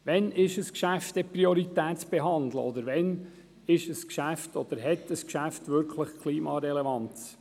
Wann ist ein Geschäft prioritär zu behandeln, und wann hat ein Geschäft Klimarelevanz?